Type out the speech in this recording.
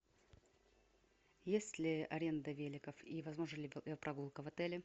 есть ли аренда великов и возможна ли прогулка в отеле